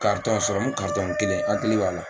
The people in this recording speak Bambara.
serɔmu kelen hakili b'a la.